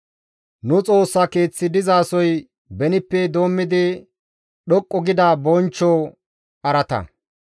Nu Xoossa Keeththi dizasoy benippe doommidi dhoqqu gida bonchcho araata.